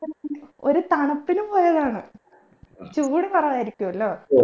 ഒരു തണുപ്പിനു പോയതാണ് ചൂട് കുറവായിരിക്കുവല്ലോ